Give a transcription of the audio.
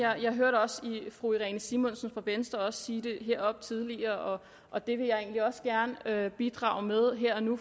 her jeg hørte også fru irene simonsen fra venstre sige det heroppe tidligere og det vil jeg egentlig også gerne bidrage med her og nu